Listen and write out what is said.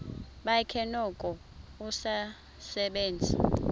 bakhe noko usasebenza